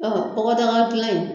Ɔn bɔgɔdaga gilan in